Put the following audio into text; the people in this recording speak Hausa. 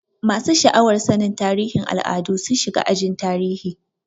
Masu sha'awar sanin tarihin al'adu sun shiga ajin tarihi.